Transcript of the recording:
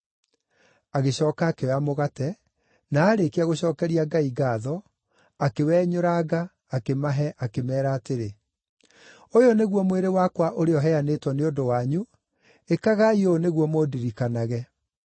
Agĩcooka akĩoya mũgate, na aarĩkia gũcookeria Ngai ngaatho, akĩwenyũranga akĩmahe akĩmeera atĩrĩ, “Ũyũ nĩguo mwĩrĩ wakwa ũrĩa ũheanĩtwo nĩ ũndũ wanyu, ĩkagai ũũ nĩguo mũndirikanage.”